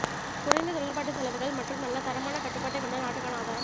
குறைந்த தொழிற்பாட்டு செலவுகள் மற்றும் நல்ல தரமான கட்டுப்பாட்டைக் கொண்ட நாடுக்கான ஆதாரம்